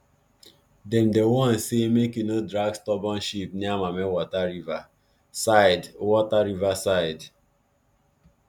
dem dey warn say make you no drag stubborn sheep near mammie water river side water river side